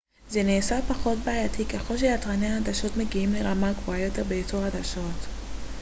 זה נעשה פחות בעייתי ככל שיצרני העדשות מגיעים לרמה גבוהה יותר בייצור העדשות